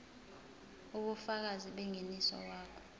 ubufakazi bengeniso wakho